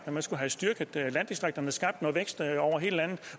at man skulle have styrket landdistrikterne skabt noget vækst over hele landet